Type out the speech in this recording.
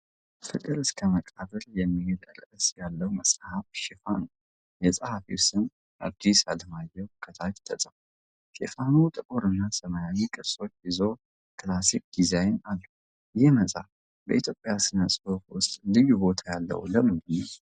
"ፍቅር እስከ መቃብር" የሚል ርዕስ ያለው መጽሐፍ ሽፋን ነው። የጸሐፊው ስም "ሐዲስ ዓለማየሁ" ከታች ተጽፏል። ሽፋኑ ጥቁር እና ሰማያዊ ቅርጾችን ይዞ ክላሲክ ዲዛይን አለው። ይህ መጽሐፍ በኢትዮጵያ ሥነ-ጽሑፍ ውስጥ ልዩ ቦታ ያለው ለምንድን ነው?